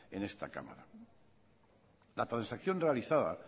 en esta cámara la transacción realizada